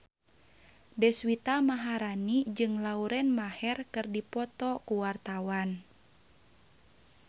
Deswita Maharani jeung Lauren Maher keur dipoto ku wartawan